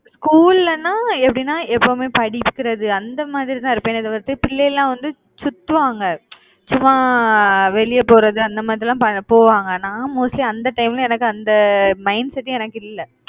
school லன்னா எப்படின்னா எப்பவுமே படிக்கறது அந்த மாதிரிதான் இருப்பேனே தவிர்த்து பிள்ளை எல்லாம் வந்து சுத்துவாங்க சும்மா வெளிய போறது அந்த மாதிரி எல்லாம் போவாங்க. நான் mostly அந்த time ல, எனக்கு அந்த mindset எனக்கு இல்லை